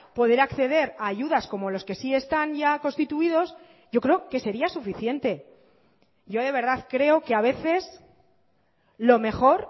poder acceder a ayudas como los que sí están ya constituidos yo creo que sería suficiente yo de verdad creo que a veces lo mejor